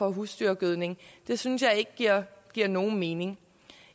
husdyrgødning det synes jeg ikke giver giver nogen mening